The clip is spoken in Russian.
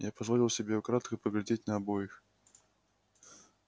я позволил себе украдкой поглядеть на обоих